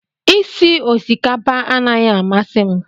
Isi osikapa anaghị amasị m